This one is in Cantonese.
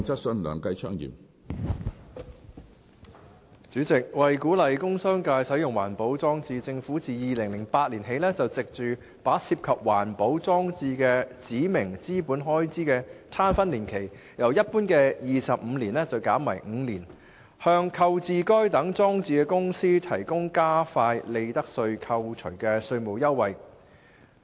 主席，為鼓勵工商界使用環保裝置，政府自2008年起藉着把涉及環保裝置的指明資本開支的攤分年期由一般的25年減為5年，向購置該等裝置的公司提供加快利得稅扣除的稅務優惠。